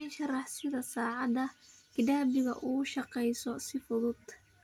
ii sharax sida saacadda gidabigu u shaqeyso si fudud